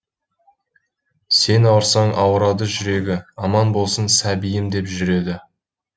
сен ауырсаң ауырады жүрегі аман болсын сәбиім деп жүреді